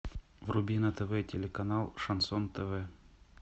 вруби на тв телеканал шансон тв